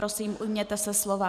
Prosím, ujměte se slova.